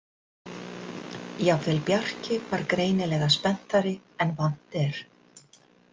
Jafnvel Bjarki var greinilega spenntari en vant er.